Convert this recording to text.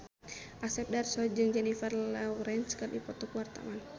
Asep Darso jeung Jennifer Lawrence keur dipoto ku wartawan